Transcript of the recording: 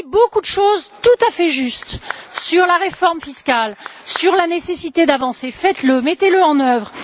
avez dit beaucoup de choses tout à fait justes sur la réforme fiscale, sur la nécessité d'avancer. Faites le, mettez le en œuvre.